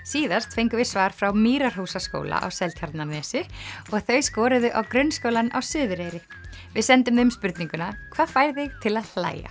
síðast fengum við svar frá Mýrarhúsaskóla á Seltjarnarnesi og þau skoruðu á Grunnskólann á Suðureyri við sendum þeim spurninguna hvað fær þig til að hlæja